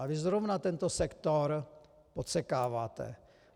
A vy zrovna tento sektor podsekáváte.